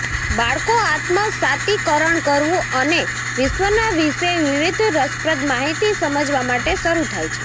બાળકો આત્મસાતીકરણ કરવું અને વિશ્વના વિશે વિવિધ રસપ્રદ માહિતી સમજવા માટે શરૂ થાય છે